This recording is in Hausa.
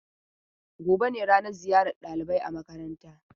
Gobe ne ranan ziyar ɗalibai a makaranta.